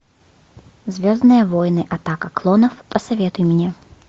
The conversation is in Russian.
звездные войны атака клонов посоветуй мне